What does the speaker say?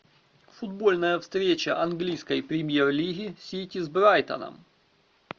футбольная встреча английской премьер лиги сити с брайтоном